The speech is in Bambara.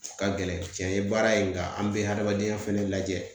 Ka gɛlɛn cɛn ye baara in nka an bɛ hadamadenya fɛnɛ lajɛ